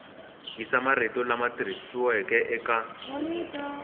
yisa marito lama tikisiweke eka